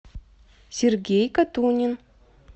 сергей катунин